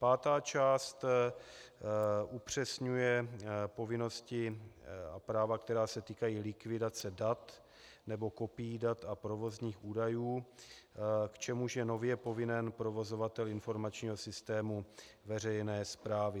Pátá část upřesňuje povinnosti a práva, která se týkají likvidace dat nebo kopií dat a provozních údajů, k čemuž je nově povinen provozovatel informačního systému veřejné správy.